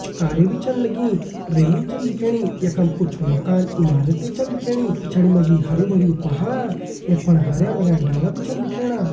कुछ कारें भी छन लगीं रेलिंग छन दिखेणी यखम कुछ मकान इमारतें छन दिखेणी पिछाड़ी मा जी हरयूं भरयूं पहाड़ यख फणा हरया भरयां डाला भी छन दिखेणा।